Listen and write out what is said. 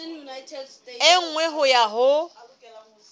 e nngwe ho ya ho